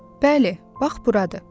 Bəli, bax buradı.